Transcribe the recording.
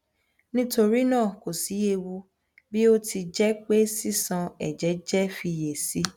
nitorina ko si ewu bi o ti jẹ pe sisan ẹjẹ jẹ fiyesi